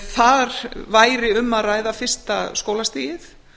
þar væri um að ræða fyrsta skólastigið